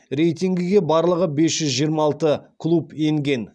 рейтингіге барлығы бес жүз жиырма алты клуб енген